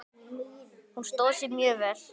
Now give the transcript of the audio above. Hún stóð sig mjög vel.